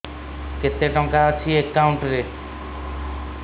କେତେ ଟଙ୍କା ଅଛି ଏକାଉଣ୍ଟ୍ ରେ